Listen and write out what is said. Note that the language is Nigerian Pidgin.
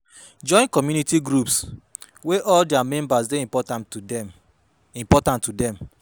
Join community groups wey all their members dey important to dem important to dem